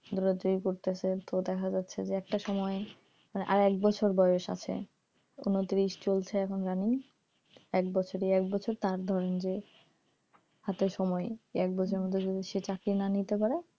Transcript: ওরা যেই পড়তেছে তো দেখা যাচ্ছে যে একটা সময় আর এক বছর বয়স আছে উনত্রিশ চলছে এখন running এক বছর ই এক বছর তার ধরেন যে হাতে সময় এক বছরের মধ্যে যদি সে চাকরি না নিতে পারে,